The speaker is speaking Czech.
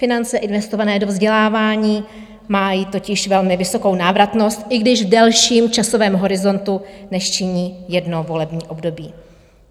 Finance investované do vzdělávání mají totiž velmi vysokou návratnost, i když v delším časovém horizontu, než činí jedno volební období.